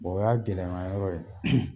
Bɔn o y'a gɛlɛma yɔrɔ ye